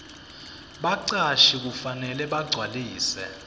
bacashi kufanele bagcwalise